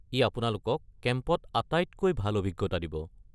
ই আপোনালোকক কেম্পত আটাইতকৈ ভাল অভিজ্ঞতা দিব।